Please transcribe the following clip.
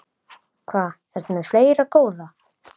Hvað ertu með fleira, góða?